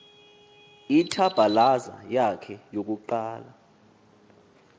ithabhalaza yakhe yokuqala